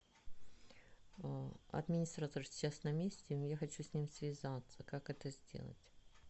администратор сейчас на месте я хочу с ним связаться как это сделать